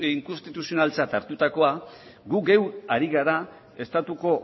inkonstituzionaltzat hartutakoa gu geu ari gara estatuko